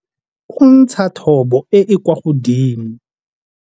O ntsha thobo e e kwa godimo.